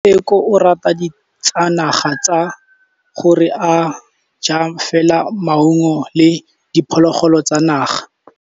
Tshekô o rata ditsanaga ka gore o ja fela maungo le diphologolo tsa naga.